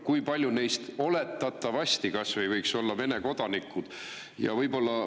Kui paljud neist kas või oletatavasti võiks olla Vene kodanikud?